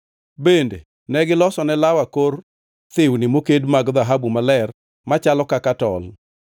Bende negilosone law akor thiwni mokedi mag dhahabu maler machalo kaka tol.